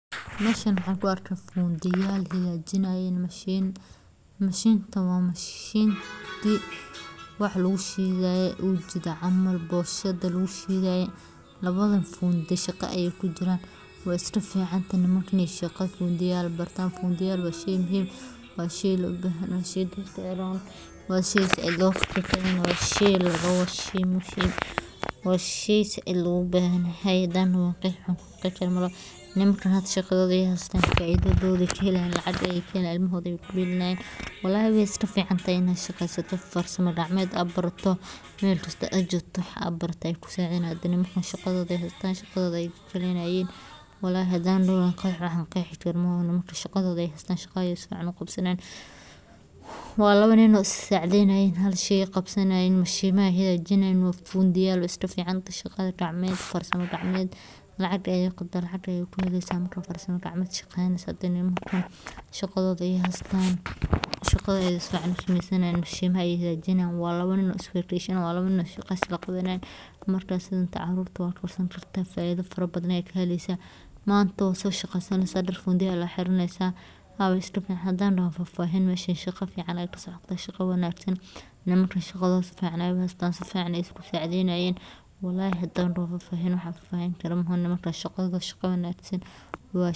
Xarunta, oo ka mid ah shirkadaha hormuudka ka ah geeddi-socodka wax-soo-saarka raashinka ee Bariga Afrika, waxay leedahay xarumo casri ah oo ku qalabeysan tiknoolajiyad sare si ay u daboosho baahiyaha sii kordhaya ee macaamiisha gudaha iyo kuwa caalamiga ah, iyada oo xoogga saaraysa tayada, badbaadada cunnada, iyo ilaalinta deegaanka, iyadoo si gaar ah ugu adeegsata habab waara oo wax-soo-saar ah si ay u yareyso qashinka, korna ugu qaaddo wax-tarka; xaruntu waxay kaloo si firfircoon u taageertaa beeraleyda maxalliga ah iyada oo siinaysa tababarro, qalab, iyo suuqyo sugan oo loogu tala galay kobcinta dhaqaalahooda, taasoo qeyb ka ah himilada.